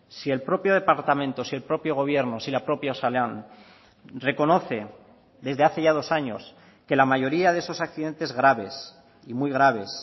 si el propio departamento si el propio gobierno si la propia osalan reconoce desde hace ya dos años que la mayoría de esos accidentes graves y muy graves